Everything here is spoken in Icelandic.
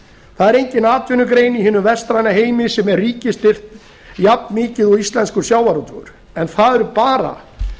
það er engin atvinnugrein í hinum vestræna heimi sem er ríkisstyrkt jafnmikið og íslenskur sjávarútvegur en það eru bara